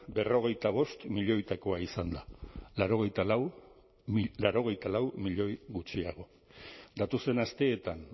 berrogeita bost milioietakoa izan da laurogeita lau milioi gutxiago datozen asteetan